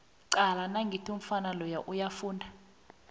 cala nangiya umfana loya uyafunda